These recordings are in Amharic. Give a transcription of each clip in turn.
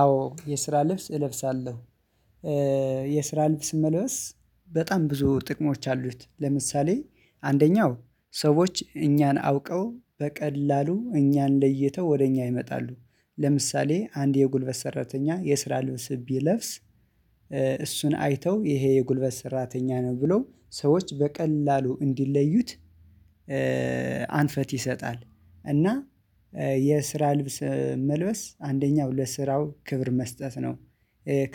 አዎ የስራ ልብስ እለብሳለሁ የስራ ልብስ መልበስ በጣም ብዙ ጥቅሞች አሉት ለምሳሌ አንደኛው ሰዎች እኛን አውቀው በቀላሉ እኛን ለይተው ወደ እኛ ይመጣሉ ለምሳሌ አንድ የጉልበት ሰራተኛ የስራ ልብስ ቢለብስ እሱን አይተው ይሄ የጉልበት ሰራተኛ ነው ብለው ሰዎች በቀላሉ እንዲለዩት አንፈት ይሰጣል እና የስራ ልብስ መልበስ አንደኛው ለስራው ክብር መስጠት ነው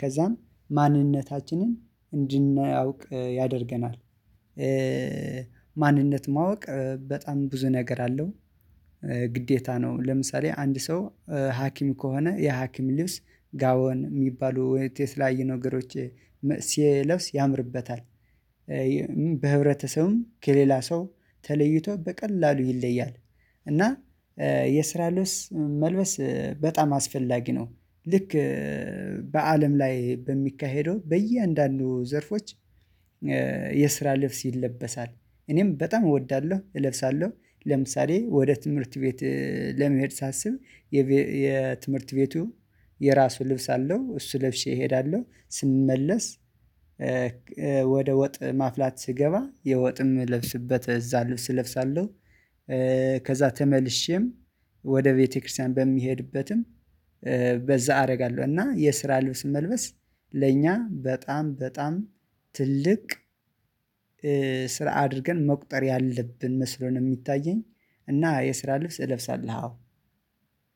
ከዛም ማንነታችንን እንድናውቅ ያደርገናል። ማንነት ማወቅ በጣም ብዙ ነገር አለው ግዴታ ነው ለምሳሌ አንድ ሰው ሀኪም ከሆነ የሀኪም ሊብስ ጋዋን የሚባሉ ወይንም የተለያዩ ነገሮች ሲለብስ ያምርበታል። በህብረተሰቡም ከሌላ ሰው ተለይቶ በቀላሉ ይለያል እና የስራ ልብስ መልበስ በጣም አስፈላጊ ነው። ልክ በአለም ላይ በሚካሄደው በእያንዳንዱ ዘርፎች የስራ ልብስ ይለበሳል እኔም በጣም እወዳለሁ እለብሳለሁ። ለምሳሌ ወደ ትምህርት ቤት ለመሄድ ሳስብ የትምህርት ቤቱ የራሱ ልብስ አለው እሱ ለብሼ እሄዳለሁ ስመለስ ወደ ወጥ ማፍላት ስገባ የወጥም እምለብስበት እዛ ልብስ እለብሳለሁ። ከዛ ተመልሼም ወደ ቤተክርስቲያን በሚሄድበትም በዛ አደርጋለሁ እና የስራ ልብስ መልበስ ለእኛ በጣም በጣም ትልቅ ስራ አድርገን መቁጠር ያለብን መስሎ ነው የሚታየኝ። እና የስራ ልብስ እለብሳለሁ አዎ።